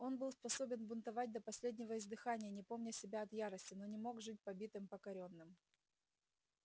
он был способен бунтовать до последнего издыхания не помня себя от ярости но не мог жить побитым покорённым